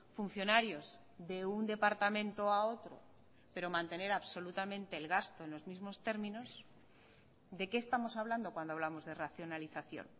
funcionarios de un departamento a otro pero mantener absolutamente el gasto en los mismos términos de qué estamos hablando cuando hablamos de racionalización